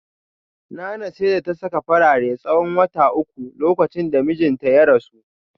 Nana sai da ta saka farare tsawon wata uku lokacin da mijinta ya rasu